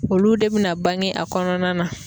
Olu de bina bange a kɔnɔna na